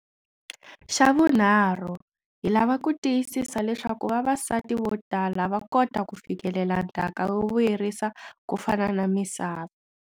Xa vunharhu, hi lava ku tiyisisa leswaku vavasati votala va kota ku fikelela ndhaka yo vuyerisa kufana na misava.